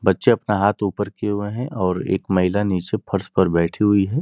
बच्चे अपना हाथ ऊपर किये हुए हैं और एक महिला नीचे फर्श पर बैठी हुई है।